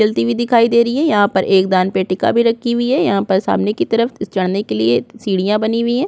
चलती हुई दिखाई दे रही है यहाँ पर एक दान पेटिका भी रखी हुई है यहाँ पर सामने की तरफ चढ़ने के लिए सीढ़ियां बनी हुई है।